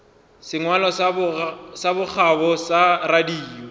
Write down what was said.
sengwalo sa bokgabo sa radio